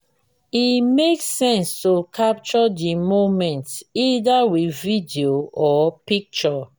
e make sense to capture di moment either with video or picture